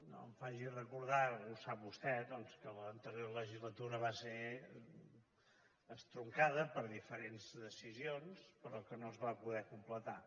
no m’ho faci recordar ho sap vostè doncs que l’anterior legislatura va ser estroncada per diferents decisions però que no es va poder completar